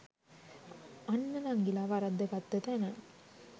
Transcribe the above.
අන්න නංඟිල වරද්ද ගත්ත තැන